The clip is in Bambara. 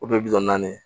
O de ye bi naani ye